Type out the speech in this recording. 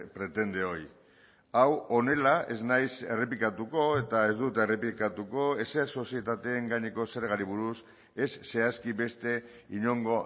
pretende hoy hau honela ez naiz errepikatuko eta ez dut errepikatuko ezer sozietateen gaineko zergari buruz ez zehazki beste inongo